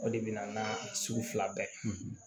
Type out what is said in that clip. O de bɛ na an ka sugu fila bɛɛ